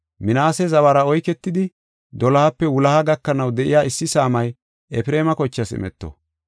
Minaase zawara oyketidi, dolohape wuloha gakanaw de7iya issi saamay Efreema kochaas imeto.